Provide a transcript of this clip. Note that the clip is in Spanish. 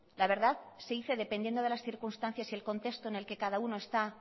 la verdad se dice dependiendo de las circunstancias y el contexto en el que cada uno está